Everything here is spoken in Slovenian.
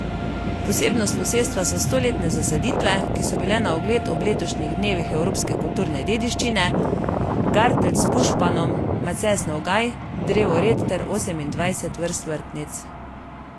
Posebnost posestva so stoletne zasaditve, ki so bile na ogled ob letošnjih dnevih evropske kulturne dediščine: 'garteljc' s pušpanom, macesnov gaj, drevored ter osemindvajset vrst vrtnic.